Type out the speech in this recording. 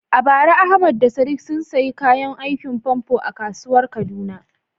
A bara Ahmad da Sadiq sun sayi kayan aikin famfo a kasuwar Kaduna.